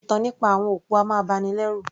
Ìtàn nípa àwọn òkú a máa bani lẹ́rù